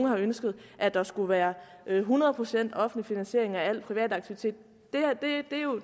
har ønsket at der skulle være hundrede procents offentlig finansiering af al privat aktivitet